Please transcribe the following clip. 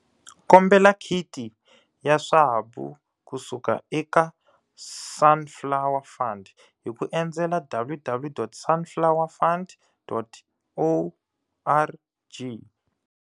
Kombela khiti ya swabu kusuka eka Sunflower Fund hi ku endzela www.sunflowerfund.org.